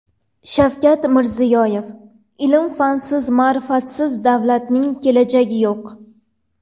Shavkat Mirziyoyev: Ilm-fansiz, ma’rifatsiz davlatning kelajagi yo‘q.